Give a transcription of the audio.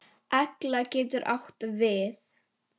Egla getur átt við